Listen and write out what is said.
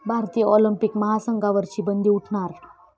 भारतीय ऑलिम्पिक महासंघावरची बंदी उठणार?